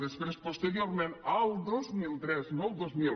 després posteriorment el dos mil tres no el dos mil